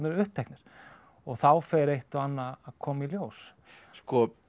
uppteknir og þá fer eitt og annað að koma í ljós sko